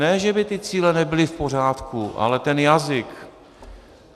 Ne že by ty cíle nebyly v pořádku, ale ten jazyk!